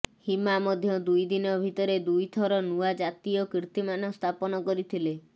ହିମା ମଧ୍ୟ ଦୁଇ ଦିନ ଭିତରେ ଦୁଇ ଥର ନୂଆ ଜାତୀୟ କୀର୍ତ୍ତିମାନ ସ୍ଥାପନ କରିଥିଲେ